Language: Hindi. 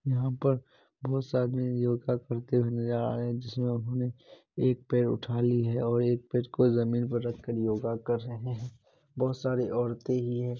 यहाँ पर बहुत से आदमी योगा करते हुए नजर आ रहे हैं जिसमे उन्होंने एक पैर उठा ली हैऔर एक पैर को जमींन पे रख के योग कर रहे हैं। बहुत सारी औरतें भी है।